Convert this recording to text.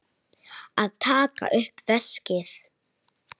Að taka upp veskið.